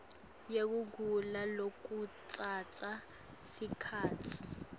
yekugula lokutsatsa sikhatsi